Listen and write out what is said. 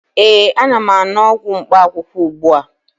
ee, ana m aṅụ ọgwụ mkpaakwụkwọ ugbu a